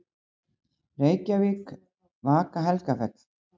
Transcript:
Reykjavík: Vaka-Helgafell.